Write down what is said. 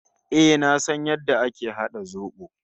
Eh, na san yadda ake hada zobo.